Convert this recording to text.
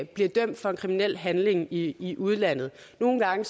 bliver dømt for en kriminel handling i i udlandet nogle gange